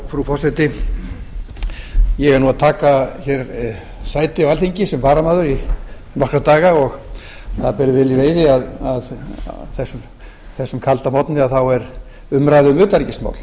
frú forseti ég er nú að taka hér sæti á alþingi sem varamaður í nokkra daga og það ber vel í veiði að á þessum kalda morgni að þá er umræða um utanríkismál